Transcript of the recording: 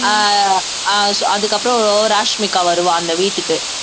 அஹ் அஹ் அதுக்கப்புறம் ராஷ்மிகா வருவா அந்த வீட்டுக்கு